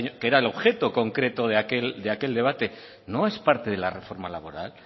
que era el objeto concreto de aquel debate no es parte de la reforma laboral